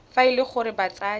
fa e le gore batsadi